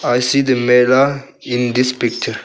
I see the mela in this picture.